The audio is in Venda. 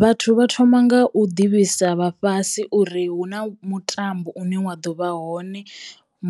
Vhathu vha thoma nga u ḓivhisa vha fhasi uri hu na mutambo une wa ḓovha hone